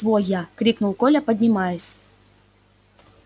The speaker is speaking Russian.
своя я крикнул коля поднимаясь